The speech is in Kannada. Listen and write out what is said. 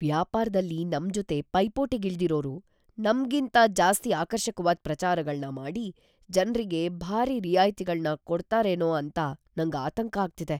ವ್ಯಾಪಾರ್ದಲ್ಲಿ ನಮ್ಜೊತೆ ಪೈಪೋಟಿಗಿಳ್ದಿರೋರು ನಮ್ಗಿಂತ ಜಾಸ್ತಿ ಆಕರ್ಷಕ್ವಾದ್ ಪ್ರಚಾರಗಳ್ನ ಮಾಡಿ, ಜನ್ರಿಗೆ ಭಾರೀ ರಿಯಾಯ್ತಿಗಳ್ನ ಕೊಡ್ತಾರೇನೋ ಅಂತ ನಂಗ್ ಆತಂಕ ಆಗ್ತಿದೆ.